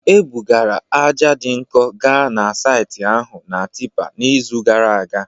Ebugara ájá dị nkọ gaa na saịtị ahụ na tipper n'izu gara aga